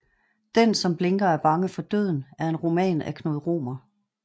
Den som blinker er bange for døden er en roman af Knud Romer